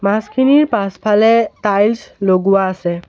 মাছখিনিৰ পাছফালে টাইলছ লগোৱা আছে।